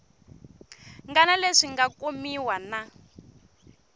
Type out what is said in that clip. ngana leswi nga kumiwa na